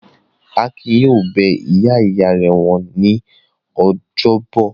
Akin yóò lọ bẹ ìyá-ìyá rẹ̀ wò ní ọjọ́bọ̀!